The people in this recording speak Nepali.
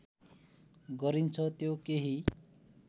गरिन्छ त्यो केही